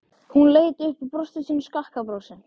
Hún leit upp og brosti sínu skakka brosi.